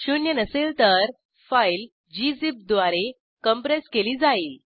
शून्य नसेल तर फाईल ग्झिप द्वारे कॉम्प्रेस केली जाईल